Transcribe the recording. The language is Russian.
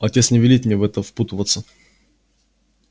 отец не велит мне в это впутываться